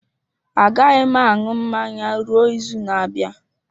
Agaghị m aṅụ mmanya ruo izu na-abịa.